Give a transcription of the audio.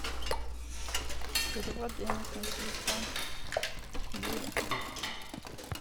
перевод денег на телефон юре